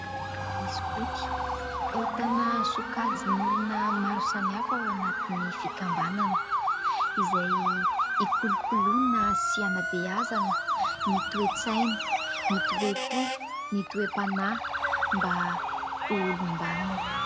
Ny sokoto ahitana sokajin'olona maro samihafa ao anatin'ny fikambanana izay hikolokoloina sy hanabeazana ny toe-tsaina, ny toe-po, ny toe-panahy mba ho olom-banona.